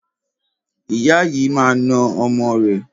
Ìyá yìí máa na ọmọ rẹ̀.